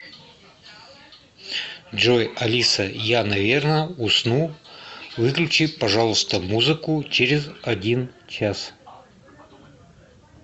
джой алиса я наверное усну выключи пожалуйста музыку через один час